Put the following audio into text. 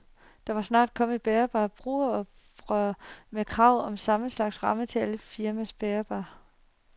Der må snart komme et bærbart brugeroprør med krav om samme slags ram til alle firmaers bærbare.